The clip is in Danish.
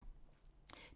DR1